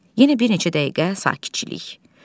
Yenə bir neçə dəqiqə sakitçilik.